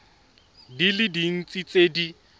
di le dintsi tse di